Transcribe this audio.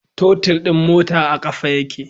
Totir din mota a kafa yake